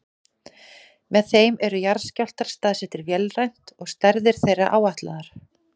Með þeim eru jarðskjálftar staðsettir vélrænt og stærðir þeirra áætlaðar.